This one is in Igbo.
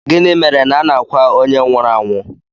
Gịnị mere na a na-akwa onye nwụrụ anwụ